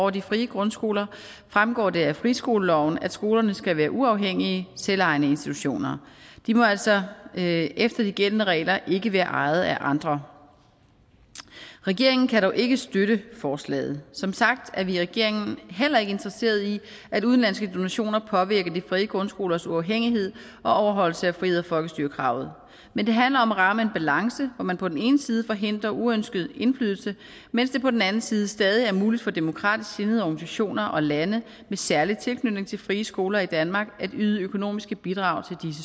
af de frie grundskoler fremgår det af friskoleloven at skolerne skal være uafhængige selvejende institutioner de må altså efter de gældende regler ikke være ejet af andre regeringen kan dog ikke støtte forslaget som sagt er vi i regeringen heller ikke interesseret i at udenlandske donationer påvirker de frie grundskolers uafhængighed og overholdelse af frihed og folkestyre kravet men det handler om at ramme en balance hvor man på den ene side forhindrer uønsket indflydelse mens det på den anden side stadig er muligt for demokratisk sindede organisationer og lande med særlig tilknytning til frie skoler i danmark at yde økonomiske bidrag til